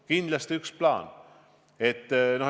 Kindlasti on see üks plaan.